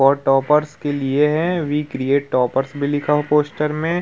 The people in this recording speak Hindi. और टोपरस के लिए है वी क्रिएट टोपरस भी लिखा हुआ है पोस्टर में --